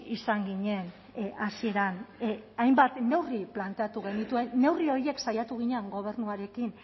izan ginen hasieran hainbat neurri planteatu genituen neurri horiek saiatu ginen gobernuarekin